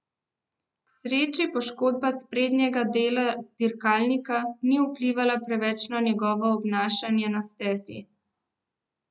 K sreči poškodba sprednjega dela dirkalnika ni vplivala preveč na njegovo obnašanje na stezi.